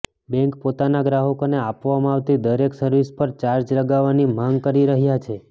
bank પોતાના ગ્રાહકોને આપવામાં આવતી દરેક સર્વિસ પર ચાર્જ લગાવવાની માંગ કરી રહ્યા છે